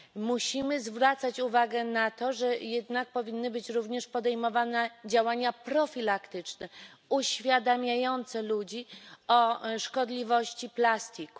Musimy zwracać uwagę na to, że jednak powinny być również podejmowane działania profilaktyczne, uświadamiające ludzi o szkodliwości plastiku.